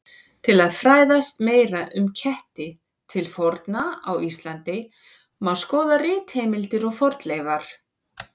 Til að fræðast meira um ketti til forna á Íslandi má skoða ritheimildir og fornleifar.